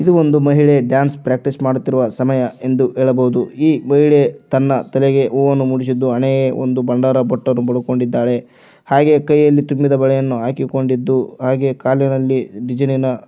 ಇದು ಒಂದು ಮಹಿಳೆ ಡ್ಯಾನ್ಸ್ ಪ್ರಾಕ್ಟೀಸ್ ಮಾಡುತ್ತಿರುವ ಸಮಯ ಎಂದು ಹೇಳಬಹುದು ಈ ಮಹಿಳೆ ತನ್ನ ತೆಲೆಗೆ ಹೂವನ್ನು ಮುಡಿಸಿದ್ದು ಹಣೆಗೆ ಒಂದು ಬಂಡಾರ ಬಟ್ಟನ್ನು ಬಳುಕೊಂಡಿದ್ದಾಳೆ ಹಾಗೆ ಕೈಯಲ್ಲಿ ತುಂಬಿದ ಬಳೆಯನ್ನು ಹಾಕಿಕೊಂಡಿದ್ದು ಹಾಗೆ ಕಾಲಿನಲ್ಲಿ ಡಿಸೈನಿನ--